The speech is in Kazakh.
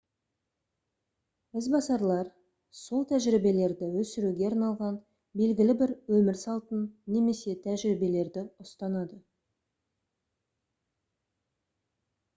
ізбасарлар сол тәжірибелерді өсіруге арналған белгілі бір өмір салтын немесе тәжірибелерді ұстанады